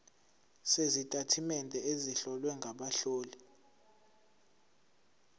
sezitatimende ezihlowe ngabahloli